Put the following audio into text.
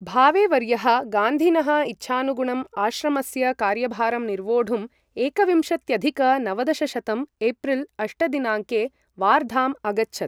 भावेवर्यः गान्धिनः इच्छानुगुणं आश्रमस्य कार्यभारं निर्वोढुं एकविंशत्यधिक नवदशशतं एप्रिल् अष्ट दिनाङ्के वार्धाम् अगच्छत्।